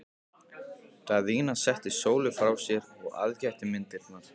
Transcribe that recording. Daðína setti Sólu frá sér og aðgætti myndirnar.